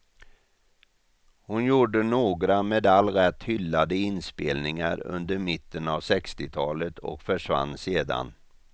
Hon gjorde några med all rätt hyllade inspelningar under mitten av sextiotalet och försvann sedan.